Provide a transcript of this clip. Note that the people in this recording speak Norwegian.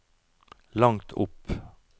langt opp